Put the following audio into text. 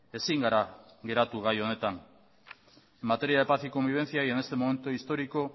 ezin gara geratu gai honetan materia de paz y convivencia y en este momento histórico